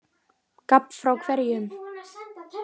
Gabb frá hverjum?